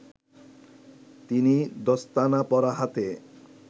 তিনি দস্তানা পরা হাতে